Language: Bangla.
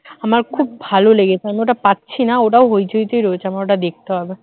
আমার খুব ভালো লেগেছে আমি ওটা পাচ্ছি না ওটাও হইচই তে রয়েছে আমার ওটা দেখতে হবে